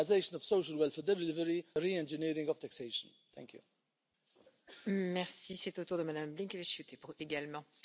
Azt gondolom, ha az Európai Parlament komolyan veszi a szociális Európa gondolatát, akkor mindenekelőtt ezekre az emberekre kell gondolnia.